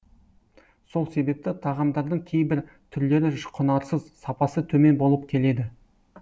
сол себепті тағамдардың кейбір түрлері құнарсыз сапасы төмен болып келеді